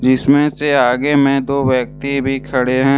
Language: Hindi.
इसमें से आगे में दो व्यक्ति भी खड़े हैं।